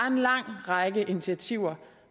en lang række initiativer